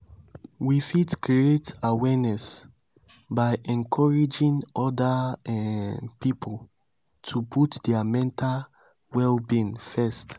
we fit create awareness by encouraging oda um pipo to put their mental well-being first